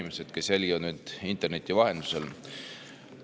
Head inimesed, kes te jälgite meid interneti vahendusel!